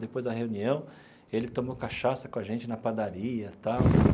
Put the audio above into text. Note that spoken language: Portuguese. Depois da reunião, ele tomou cachaça com a gente na padaria tal.